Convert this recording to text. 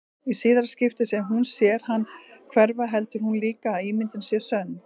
Í síðara skiptið sem hún sér hann hverfa heldur hún líka að ímyndunin sé sönn.